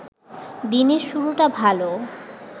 দিনের শুরুটা ভালো